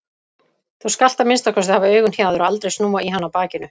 Þú skalt að minnsta kosti hafa augun hjá þér og aldrei snúa í hana bakinu.